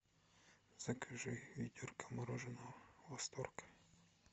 закажи ведерко мороженого восторг